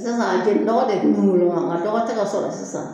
Sisan jenidɔgɔ de tun bɛ wolo nka dɔgɔ tɛ ka sɔrɔ sisan